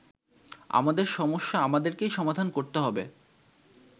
আমাদের সমস্যা আমাদেরকেই সমাধান করতে হবে।